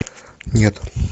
нет